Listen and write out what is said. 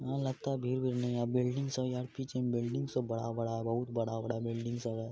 यहाँ लगता है भीड़-वीड़ नहीं है बिल्डिंग सब यार पीछे में बिल्डिंग सब बड़ा-बड़ा है बहुत बड़ा-बड़ा बिल्डिंग सब है। .